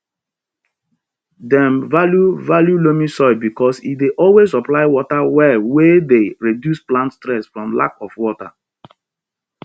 dem value value loamy soil because e dey always supply water well wey dey reduce plant stress from lack of water